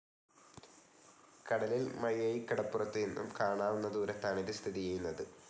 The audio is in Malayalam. കടലിൽ മയ്യഴിക്കടപ്പുറത്തു നിന്നും കാണാവുന്ന ദൂരത്താണ് ഇതു സ്ഥിതി ചെയ്യുന്നത്.